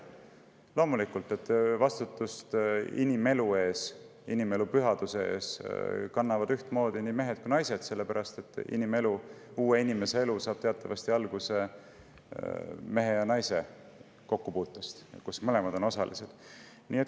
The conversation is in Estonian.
Loomulikult kannavad vastutust inimelu eest, inimelu pühaduse eest ühtmoodi nii mehed kui ka naised, sellepärast et uue inimese elu saab teatavasti alguse mehe ja naise kokkupuutest, kus mõlemad on osalised.